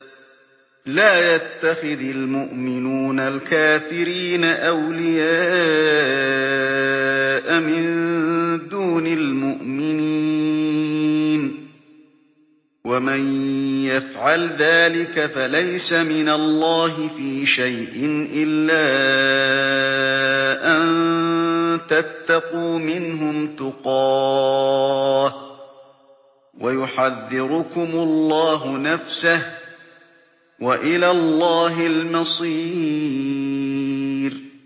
لَّا يَتَّخِذِ الْمُؤْمِنُونَ الْكَافِرِينَ أَوْلِيَاءَ مِن دُونِ الْمُؤْمِنِينَ ۖ وَمَن يَفْعَلْ ذَٰلِكَ فَلَيْسَ مِنَ اللَّهِ فِي شَيْءٍ إِلَّا أَن تَتَّقُوا مِنْهُمْ تُقَاةً ۗ وَيُحَذِّرُكُمُ اللَّهُ نَفْسَهُ ۗ وَإِلَى اللَّهِ الْمَصِيرُ